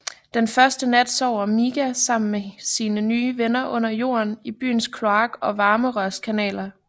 Den første nat sover Miga samme med sine nye venner under jorden i byens kloak og varmerørskanaler